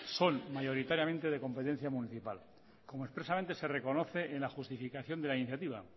son mayoritariamente de competencia municipal como expresamente se reconoce en la justificación de la iniciativa